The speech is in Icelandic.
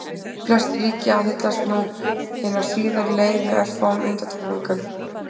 Flest ríki aðhyllast nú hina síðari leið með örfáum undantekningum.